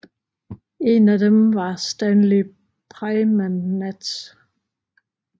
En af dem var Stanley Praimnath